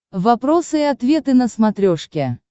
вопросы и ответы на смотрешке